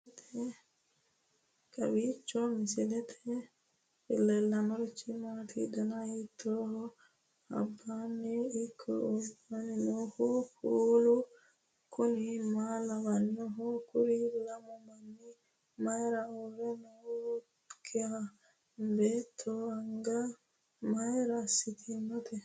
kowiicho misilete leellanorichi maati ? dana hiittooho ?abadhhenni ikko uulla noohu kuulu kuni maa lawannoho? kuri lamu manni mayra uurre nooikka beetto anga mayra assitinote